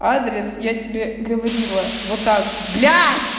адрес я тебе говорила вот так блядь